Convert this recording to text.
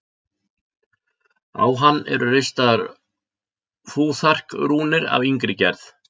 Á hann eru ristar fúþark-rúnir af yngri gerð.